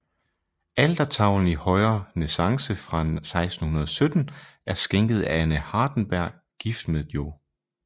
Altertavlen i højrenæssance fra 1617 er skænket af Anne Hardenberg gift med Joh